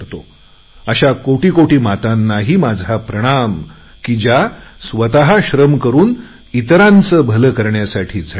अशा कोटी कोटी मातांनाही माझा प्रणाम की जे स्वत श्रम करुन इतरांचे भले करण्यासाठी झटतात